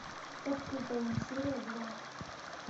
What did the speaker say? под куполом серия два